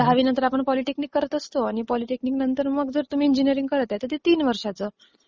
दहावीनंतर आपण पॉलिटेक्निक करत असतो आणि पॉलिटेक्निक नंतर मग जर तुम्ही इजिनीरिंग करत आहे तर ते तीन वर्षाचं असतं.